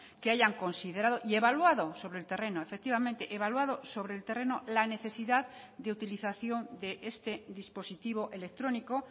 que hayan considerado y evaluado sobre el terreno efectivamente evaluado sobre el terreno la necesidad de utilización de este dispositivo electrónico